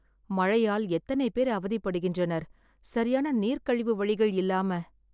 மழையால் எத்தனை பேர் அவதிப்படுகின்றனர் சரியான நீர் கழிவு வழிகள் இல்லாம